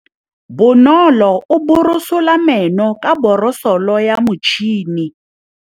Bonolô o borosola meno ka borosolo ya motšhine.